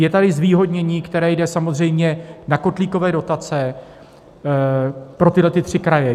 Je tady zvýhodnění, které jde samozřejmě na kotlíkové dotace pro tyto tři kraje.